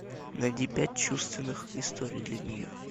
найди пять чувственных историй для нее